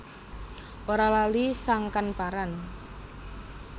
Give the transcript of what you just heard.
Ora lali sangkan paran